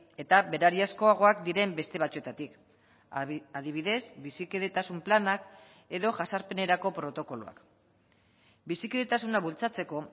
eta berariazkoagoak diren beste batzuetatik adibidez bizikidetasun planak edo jazarpenerako protokoloak bizikidetasuna bultzatzeko